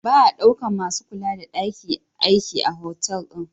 Ba a daukan masu kula da daki aiki a otal din.